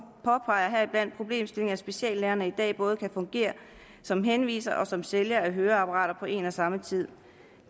påpeger heriblandt problemstillingen at speciallægerne i dag både kan fungere som henviser og som sælger af høreapparater på én og samme tid